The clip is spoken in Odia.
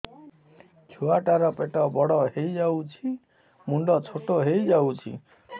ଛୁଆ ଟା ର ପେଟ ବଡ ହେଇଯାଉଛି ମୁଣ୍ଡ ଛୋଟ ହେଇଯାଉଛି